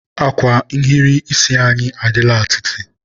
akwa nhiri isi anyị adịla atịtị.